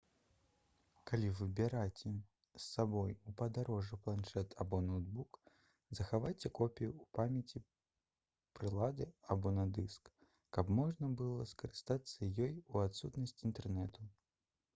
калі вы бераце з сабой у падарожжа планшэт або ноўтбук захавайце копію ў памяці прылады або на дыску каб можна было скарыстацца ёй у адсутнасць інтэрнэту